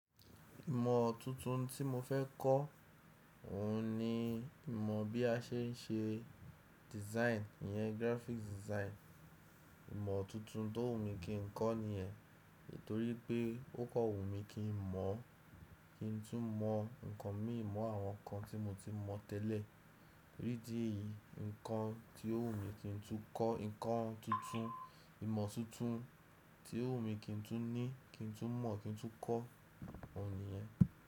Ìmọ̀ tuntun tí mo fẹ́ kọ́, òhun ni ìmọ̀ bí a ṣe ń ṣe design, ìyẹn graphic design. Ìmọ̀ tuntun tó wù mí kí n kọ́ ni yẹn, nítorí pé ó kọ̀ wù mí kí n mọ̀, kí n tún mọ nǹkan imí mọ àwọn nǹkan tí mo ti mọ tẹ́lẹ̀. Ní idi eyí, nǹkan tí ó wù mí kí n tún kọ́, nǹkan tuntun, ìmọ̀ tuntun tí ó wù mí kí n tún ní, kí n tún mọ̀, kí n tún kọ́ òhun ni yẹn.